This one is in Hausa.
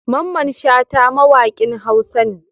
Mamman shata mawakin huasa ne